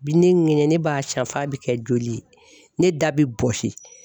Bi ne ŋɛɲɛ ne b'a siɲɛn f'a bɛ kɛ joli ye ne da bi bɔsi.